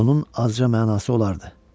Bunun azca mənası olardı.